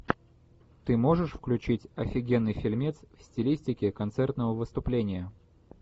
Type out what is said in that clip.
ты можешь включить офигенный фильмец в стилистике концертного выступления